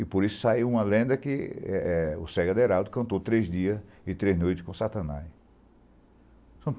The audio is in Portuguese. E por isso saiu uma lenda que o Sérgio Aderaldo cantou três dias e três noites com o Satanás.